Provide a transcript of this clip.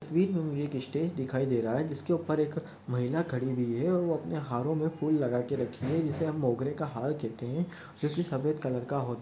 तस्वीर में मुझे एक इ स्टेज दिखाई दे रहा है जिसके ऊपर एक महिला खड़ी हुई है और वो अपने हिरों में फूल लगा के रखी है जिसे हम मोगरे का हार कहते है जो की सफ़ेद कलर का हो--